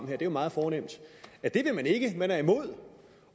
det er jo meget fornemt at det vil man ikke man er imod